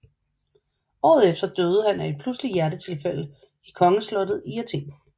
Året efter døde han af en pludseligt hjertetilfælde i Kongeslottet i Athen